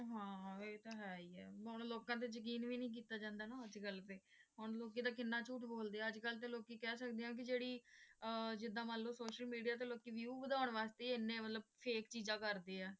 ਹਾਂ ਇਹ ਤਾਂ ਹੈ ਹੀ ਹੈ ਹੁਣ ਲੋਕਾਂ ਤੇ ਯਕੀਨ ਵੀ ਨਹੀਂ ਕੀਤਾ ਜਾਂਦਾ ਨਾ ਅੱਜ ਕੱਲ ਤੇ ਹੁਣ ਲੋਕੀ ਤਾਂ ਕਿੰਨਾ ਝੂਠ ਬੋਲਦੇ ਹੈ ਅੱਜ ਕੱਲ ਤੇ ਲੋਕੀ ਕਹਿ ਸਕਦੇ ਹੈ ਕਿ ਜਿਹੜੀਅਹ ਜਿੱਦਾਂ ਮਤਲਬ ਸੋਸ਼ਲ ਮੀਡੀਆ ਤੇ ਲੋਕੀ View ਵਧਾਉਣ ਵਾਸਤੇ ਮਤਲਬ ਐਨੀਆਂ ਮਤਲਬ fake ਚੀਜਾਂ ਕਰਦੇ ਹੈ